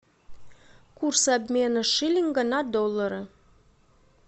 курс обмена шиллинга на доллары